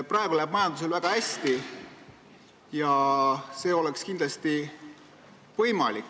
Praegu läheb majandusel väga hästi ja see oleks kindlasti võimalik.